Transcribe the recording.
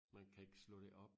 Man kan ikke slå det op